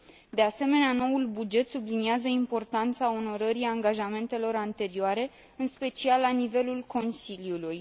De asemenea, noul buget subliniază importanța onorării angajamentelor anterioare, în special la nivelul Consiliului.